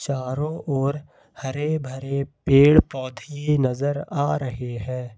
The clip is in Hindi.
चारों ओर हरे भरे पेड़ पौधे नजर आ रहे हैं।